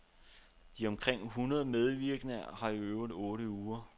De omkring hundrede medvirkende har øvet i otte uger.